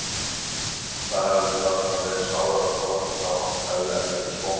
Það hefði varla verið sárara þó lappirnar á honum hefðu enn verið í skónum.